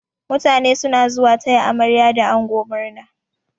Mutane suna zuwa taya amarya da ango murna.